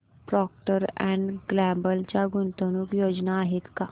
Procter and Gamble च्या गुंतवणूक योजना आहेत का